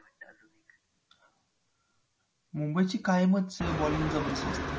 मुंबईची कायमच bowling जबरदस्त असते.